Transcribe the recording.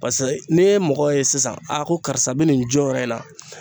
Pasa n'i ye mɔgɔ ye sisan ko karisa be nin jɔyɔrɔ in na